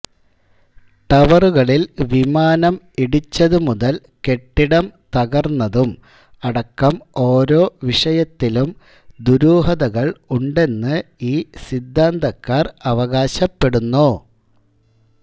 ടവറുകളിൽ വിമാനം ഇടിച്ചത് മുതൽ കെട്ടിടം തകർന്നതും അടക്കം ഓരോ വിഷയത്തിലും ദുരൂഹതകൾ ഉണ്ടെന്നു ഈ സിദ്ധാന്തക്കാർ അവകാശപ്പെടുന്നു